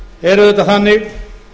er auðvitað þannig